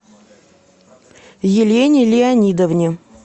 елене леонидовне